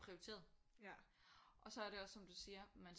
Prioriteret og så er det også som du siger man